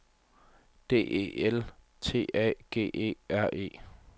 D E L T A G E R E